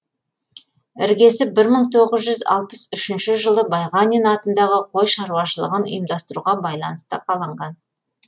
іргесі бір мың тоғыз жүз алпыс үшінші жылы байғанин атындағы қой шарушалығын ұйымдастыруға байланысты қаланған